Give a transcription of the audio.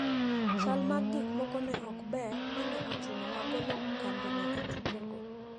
Chal mag gikmoko ne ok ber ma ne ochuno wagolo kambino e tukego.